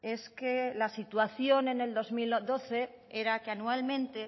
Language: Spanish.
es que la situación en el dos mil doce era que anualmente